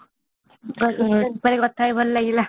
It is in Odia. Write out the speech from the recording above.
ବହୁତ ଦିନ ପରେ କଥା ହେଇ ଭଲ ଲାଗିଲା